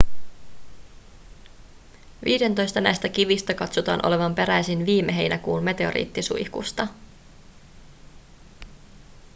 viidentoista näistä kivistä katsotaan olevan peräisin viime heinäkuun meteoriittisuihkusta